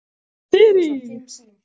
Þyri, hefur þú prófað nýja leikinn?